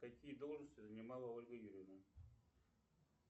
какие должности занимала ольга юрьевна